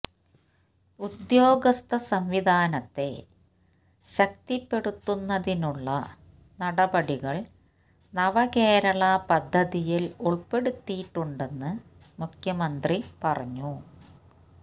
ഉദ്യോഗസ്ഥ സംവിധാനത്തെ ശക്തിപ്പെടുത്തുന്നതിനുള്ള നടപടികൾ നവകേരള പദ്ധതിയിൽ ഉൾപ്പെടുത്തിയിട്ടുണ്ടെന്ന് മുഖ്യമന്ത്രി പറഞ്ഞു